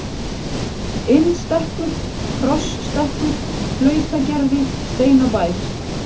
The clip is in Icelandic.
Innstekkur, Krossstekkur, Flautagerði, Steinabær